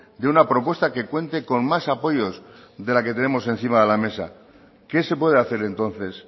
de una propuesta que cuente con más apoyos de la que tenemos encima de la mesa qué se puede hacer entonces